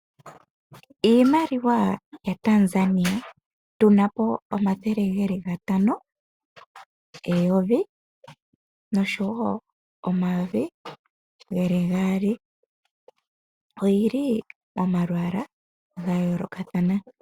Iimaliwa ya Tanzania, tu na po: omathele geli gatano, eyovi noshowo omayovi geli gaali. Oyili momalwaala ga yoolokathana.